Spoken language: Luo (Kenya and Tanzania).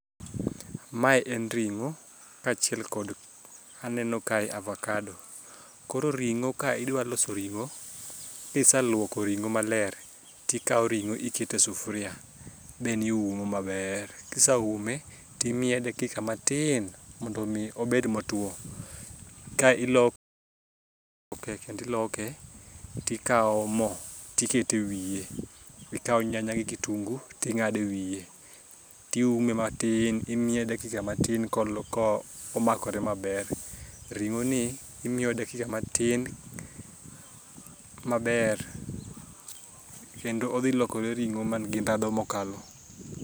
Mae en ring'o kaachiel kod aneno kae avakado. Koro ring'o ka idwaloso ring'o kiseluoko ring'o maler tikao ring'o ikete sufria then iume maber kisaume timiye dakika matin mondo omi obed motwo kae ilo ke kendi iloke tikao mo tikete wiye ikawo nyanya gi kitungu ting'ado e wiye tiume matin imiye dakika matin komakore maber. Ring'oni imiyo dakika matin maber kendo odhilokore ring'o mangi ndhadhu mokalo.